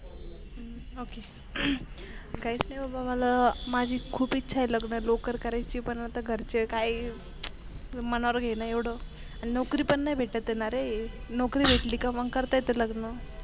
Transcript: हम्म ओके काहीच नको मला माझी खूप इच्छा आहे लग्न लवकर करायेची, पण आता घरचे काही मनावर घेईना एवढं आणि नोकरी पन भेटत नारे नोकरी भेटली कि मग करता येते लग्न.